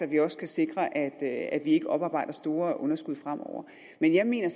vi også kan sikre at ikke oparbejder store underskud fremover men jeg mener